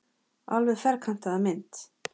Alveg ferkantaða mynd.